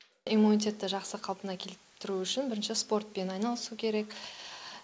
иммунитетті жақсы қалпына келтіру үшін бірінші спортпен айналысу керек